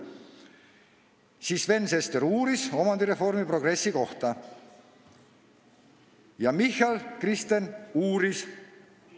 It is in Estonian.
Siis Sven Sester uuris omandireformi progressi kohta ja ka Michal, Kristen uuris.